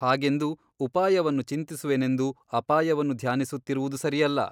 ಹಾಗೆಂದು ಉಪಾಯವನ್ನು ಚಿಂತಿಸುವೆನೆಂದು ಅಪಾಯವನ್ನು ಧ್ಯಾನಿಸುತ್ತಿರುವುದು ಸರಿಯಲ್ಲ.